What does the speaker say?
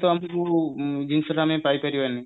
ତ ଆମେ ଯୋଉ ଜିନିଷଟା ଆମେ ପାଇ ପାରିବାନି